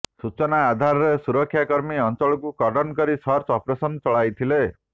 ସୂଚନା ଆଧାରରେ ସୁରକ୍ଷା କର୍ମୀ ଅଞ୍ଚଳକୁ କର୍ଡ଼ନ କରି ସର୍ଚ ଅପରେସନ ଚଳାଇଥିଲେ